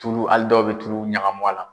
Tulu hali dɔw bɛ tulu ɲagami a la.